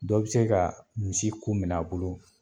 Dɔ bi se ka misi kun minɛ a bolo